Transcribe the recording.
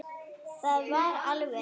Það var alvöru.